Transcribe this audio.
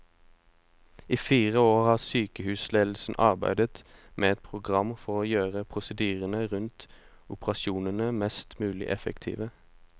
I fire år har sykehusledelsen arbeidet med et program for å gjøre prosedyrene rundt operasjonene mest mulig effektive.